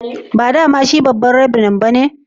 Ba dama shi babba'n revran ba ne?